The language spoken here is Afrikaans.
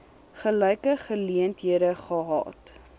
gelyke geleenthede gehad